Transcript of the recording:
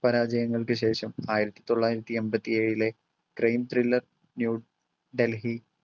പരാജയങ്ങൾക്ക് ശേഷം ആയിരത്തി തൊള്ളായിരത്തി എമ്പത്തിയേഴിലെ crime thriller ന്യൂഡൽഹി